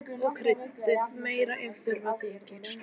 Smakkað og kryddið meira ef þurfa þykir.